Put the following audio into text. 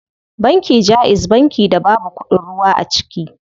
Banki jaiz banki da babu kuɗin ruwa a ciki.